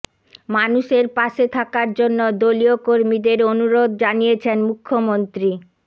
মানুষের পাশে থাকার জন্য দলীয় কর্মীদের অনুরোধ জানিয়েছেন মুখ্যমন্ত্রী